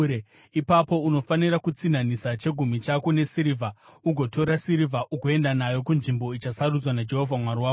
ipapo unofanira kutsinhanisa chegumi chako nesirivha, ugotora sirivha ugoenda nayo kunzvimbo ichasarudzwa naJehovha Mwari wako.